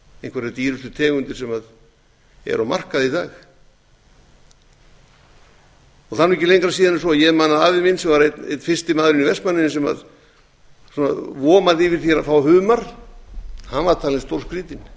einhverjar dýrustu tegundir sem eru á markaði í dag það er ekki lengra síðan en svo að ég man að afi minn sem var einn fyrsti maðurinn í vestmannaeyjum sem vomaði yfir því að fá humar var talinn